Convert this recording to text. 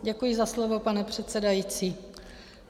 Děkuji za slovo, pane předsedající.